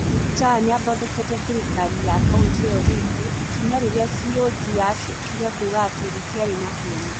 Muktar nĩ athondekete thirikari ya kauntĩ ĩyo rĩngĩ, ikinya rĩrĩa CoG yaacokire kuuga atĩ rĩtiarĩ na kĩene.